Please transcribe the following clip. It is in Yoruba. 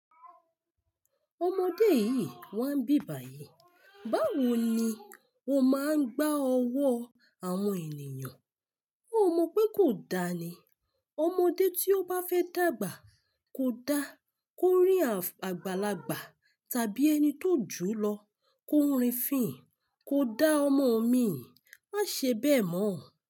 Ọmọdé yìí wá ń bibàyè, báwo ni o máa ń gbá ọwọ́ àwọn ènìyàn? Ó mọ pé kò dáa ni. Ọmọdé tí ó bá fẹ́ dàgbà kò dá kó rìn àgbàlagbà tàbí ẹni tó jù lọ, kó rìn fín, kò dá ọmọ omi ì, má ṣe bẹ́ẹ̀ mọ.